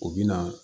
U bɛ na